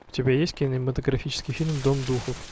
у тебя есть кинематографический фильм дом духов